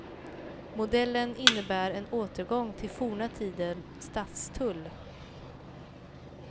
Modellen innebär en återgång till forna tiders stadstull.